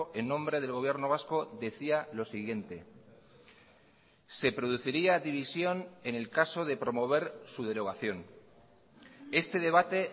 en nombre del gobierno vasco decía lo siguiente se produciría división en el caso de promover su derogación este debate